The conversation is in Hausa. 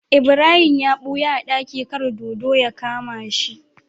Ibrahim ya buya a daki kar dodo ya kama shi